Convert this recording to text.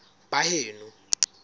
baheno